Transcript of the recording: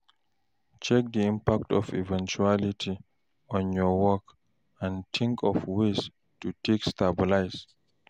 Check di impact of di eventuality on your work and think of ways to take stabilize